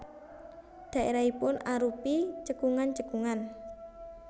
Dhaérahipun arupi cekungan cekungan